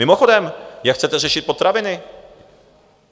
Mimochodem, jak chcete řešit potraviny?